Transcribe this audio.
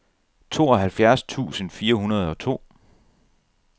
tooghalvfjerds tusind fire hundrede og to